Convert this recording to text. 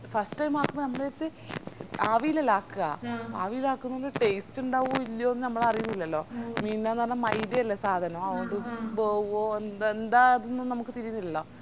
first ആകുമ്പോ ഞമ്മള് വിചാരിച് ആവിലല്ലേ ആക്ക ആവിലാക്കുന്നത് taste ഇണ്ടാവോ ഇല്ലയോന്ന് നമ്മളാരീന്നില്ലല്ലോ എനി ന്താന്ന് പറഞ്ഞ മൈദ അല്ലെ സാധനം അത്കൊണ്ട് വെവോ ന്ത ന്ത അതൊന്നും നമുക്ക് തിരിന്നില്ലല്ലോ